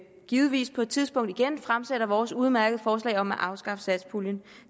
vi givetvis på et tidspunkt igen fremsætter vores udmærkede forslag om at afskaffe satspuljen